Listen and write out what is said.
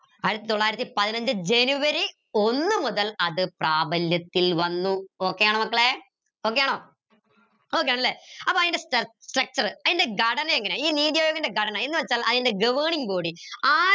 ആയിരത്തി തൊള്ളായിരത്തി പതിനഞ്ച് ജനുവരി ഒന്ന് മുതൽ അത് പ്രാബല്യത്തിൽ വന്നു okay യാണോ മക്കളെ okay യാണോ okay ആണല്ലേ അപ്പൊ അയിന്റെ structure അയ്‌ന്റെ ഘടന എങ്ങനെ ഈ നീതി ആയോഗിന്റെ ഘടന എന്ന് വെച്ചാൽ അയിന്റെ governing body ആ